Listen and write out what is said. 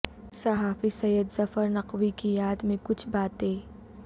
صحافی سید ظفر نقوی کی یاد میں کچھ باتیں